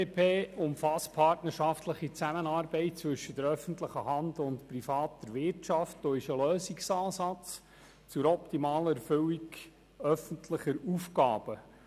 PPP umfasst die partnerschaftliche Zusammenarbeit zwischen öffentlicher Hand und privater Wirtschaft und ist ein Lösungsansatz zur optimalen Erfüllung öffentlicher Aufgaben.